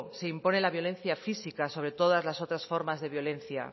se impone la violencia física sobre todas las otras formas de violencia